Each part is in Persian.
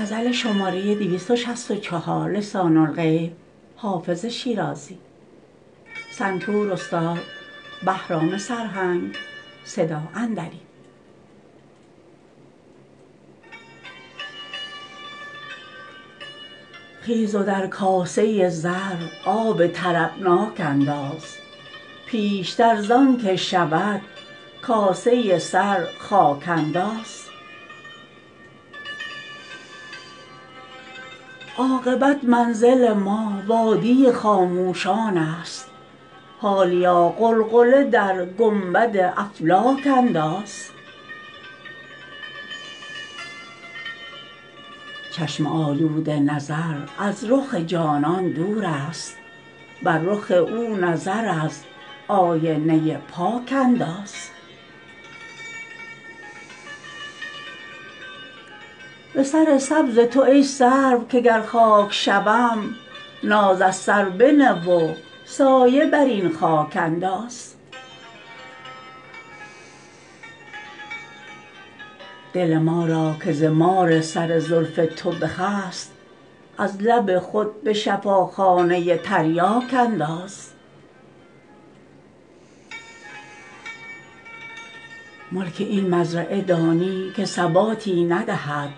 خیز و در کاسه زر آب طربناک انداز پیشتر زان که شود کاسه سر خاک انداز عاقبت منزل ما وادی خاموشان است حالیا غلغله در گنبد افلاک انداز چشم آلوده نظر از رخ جانان دور است بر رخ او نظر از آینه پاک انداز به سر سبز تو ای سرو که گر خاک شوم ناز از سر بنه و سایه بر این خاک انداز دل ما را که ز مار سر زلف تو بخست از لب خود به شفاخانه تریاک انداز ملک این مزرعه دانی که ثباتی ندهد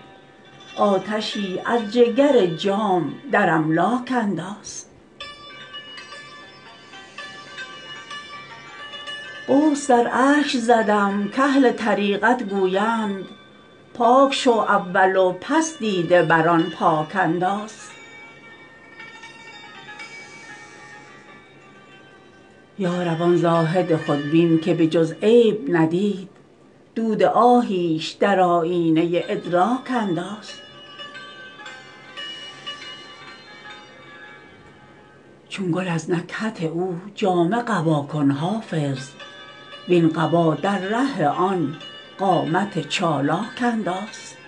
آتشی از جگر جام در املاک انداز غسل در اشک زدم کاهل طریقت گویند پاک شو اول و پس دیده بر آن پاک انداز یا رب آن زاهد خودبین که به جز عیب ندید دود آهیش در آیینه ادراک انداز چون گل از نکهت او جامه قبا کن حافظ وین قبا در ره آن قامت چالاک انداز